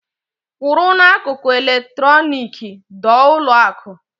Kwụrụ n'akụkụ eletronik dọọ ụlọ akụǃ